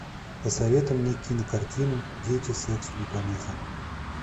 посоветуй мне кинокартину дети сексу не помеха